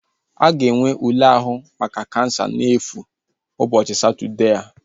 A ga-enwe ule ahụ maka kansa na-efu ụbọchị Satọdee a